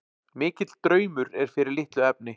Mikill draumur er fyrir litlu efni.